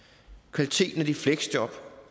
kvaliteten af de fleksjob